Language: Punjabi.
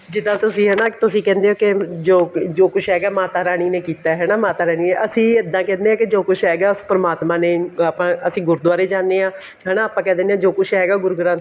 ਜਿੱਦਾਂ ਤੁਸੀਂ ਹੋ ਤੁਸੀਂ ਕਹਿੰਦੇ ਹੋ ਕੇ ਜੋ ਕੁੱਛ ਹੈਗਾ ਮਾਤਾ ਰਾਣੀ ਨੇ ਕੀਤਾ ਹਨਾ ਮਾਤਾ ਰਾਣੀ ਅਸੀਂ ਇਹਦਾ ਕਹਿੰਦੇ ਹਾਂ ਜੋ ਕੁੱਛ ਹੈਗਾ ਉਸ ਪਰਮਾਤਮਾ ਨੇ ਅਸੀਂ ਗੁਰੂਦਆਰਾ ਜਾਣੇ ਹਾਂ ਹੈਨਾ ਆਪਾਂ ਕਹਿ ਦਿੰਨੇ ਹਾਂ ਜੋ ਕੁੱਛ ਹੈਗਾ ਉਹ ਗੁਰੂ ਗ੍ਰੰਥ